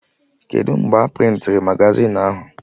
Kedụ mgbe a prịntịrị magazin ahụ?